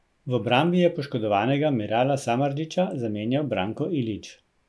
V obrambi je poškodovanega Mirala Samardžića zamenjal Branko Ilić.